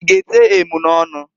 I ga ete emunọnụ?